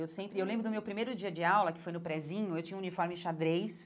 Eu sempre eu lembro do meu primeiro dia de aula, que foi no Prezinho, eu tinha o uniforme xadrez,